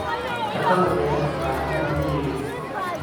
shaqada beeraha, gaar ahaan miyiga.